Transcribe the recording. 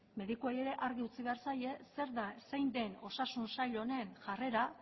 medikuei ere argi utzi behar zaie zein den osasun sail honen jarrera